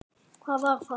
Hvar var það?